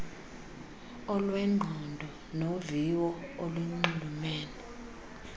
olwengqondo noviwo olunxulumene